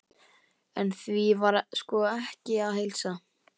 En því var sko ekki að heilsa.